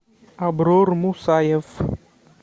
аброр мусаев